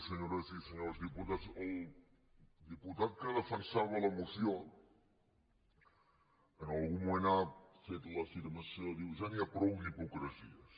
senyores i senyors diputats el diputat que defensava la moció en algun moment ha fet l’afirmació de dir ja n’hi ha prou d’hi·pocresies